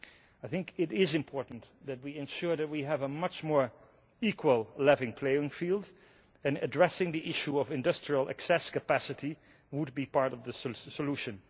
I think it is important that we ensure that we have a much more equal level playing field, and addressing the issue of industrial excess capacity would be part of the solution.